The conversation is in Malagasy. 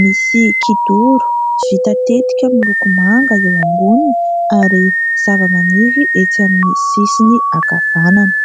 Misy kidoro vita tetika miloko manga eo amboniny ary zavamaniry etsy amin'ny sisiny ankavanana.